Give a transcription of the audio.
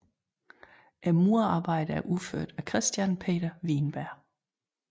Murerarbejdet er udført af Christian Peter Wienberg